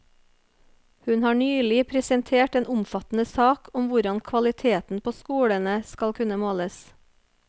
Hun har nylig presentert en omfattende sak om hvordan kvaliteten på skolene skal kunne måles.